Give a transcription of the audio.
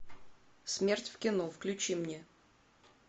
смерть в кино включи мне